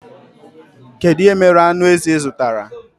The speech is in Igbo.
Kedụ ihe mere aṅụ ezi ịzụtara?